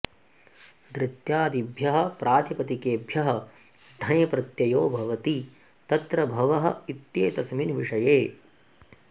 दृत्यादिभ्यः प्रातिपदिकेभ्यः ढञ् प्रत्ययो भवति तत्र भवः इत्येतस्मिन् विषये